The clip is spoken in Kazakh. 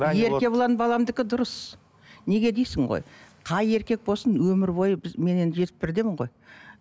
еркебұлан баламдікі дұрыс неге дейсің ғой қай еркек болсын өмір бойы біз мен енді жетпіс бірдемін ғой